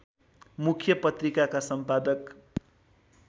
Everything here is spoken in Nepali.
मुख्य पत्रिकाका सम्पादक